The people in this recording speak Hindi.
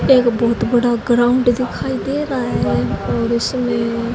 एक बहुत बड़ा ग्राउंड दिखाई दे रहा है और इसमें--